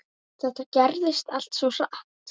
Þetta gerðist allt svo hratt.